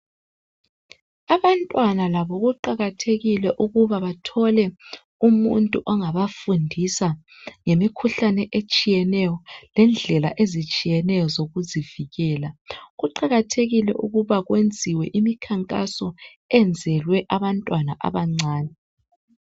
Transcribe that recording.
abantwana labo kuqakathekile ukuba bathole umuntu ongabafundisa ngemikhuhlane etshiyeneyo lendlela ezitshiyetshiyeneyo zokuzivikela kuqakathekile ukuba kwenziwe imikhankaso enzelwe abantwana abancane